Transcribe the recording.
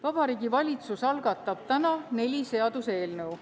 Vabariigi Valitsus algatab täna neli seaduseelnõu.